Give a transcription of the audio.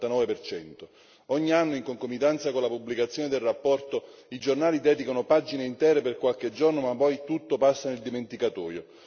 del 59. Ogni anno, in concomitanza con la pubblicazione del rapporto, i giornali vi dedicano pagine intere per qualche giorno, ma poi tutto passa nel dimenticatoio.